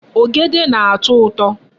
Ogede na-ato uto